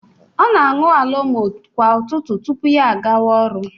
Ọ na-aṅụ alomo kwa ụtụtụ tupu ya agawa ọrụ